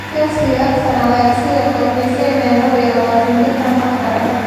Chelsea iyo Arsenal ayaa sidoo kale xiiseynaya laba iyo labatan jirkaan khadka dhexe.